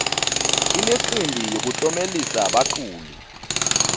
imicimbi yokutlomelisa baculi